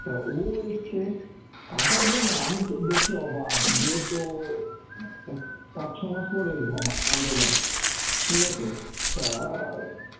তা ও এসছে আসার পর না আমি তো দেখে অবাক, বেশ ও পাঁচ ছমাস পর এলো আমা~ আমাদের বাড়ি. ঠিক আছে, তা